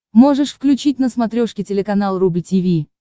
можешь включить на смотрешке телеканал рубль ти ви